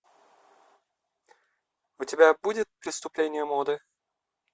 у тебя будет преступление моды